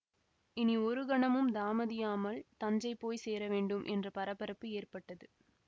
இனி ஒரு கணமும் தாமதியாமல் தஞ்சை போய் சேர வேண்டும் என்ற பரபரப்பு ஏற்பட்டது